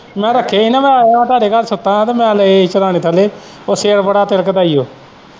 ਮੈਂ ਰੱਖੇ ਹੀ ਨਾ ਮੈਂ ਆਇਆ ਹੀ ਤੁਹਾਡੇ ਘਰ ਸੁੱਤਾ ਹਾਂ ਮੈਂ ਲਏ ਹੀ ਸਿਰਹਾਣੇ ਥੱਲ਼ੇ ਉਹ ਸਿਰ ਬੜਾ ਤਿਲਕਦਾ ਹੀ ਹੋ।